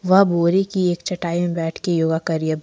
वह बोरी की एक चटाई में बैठकर योगा कर रही है।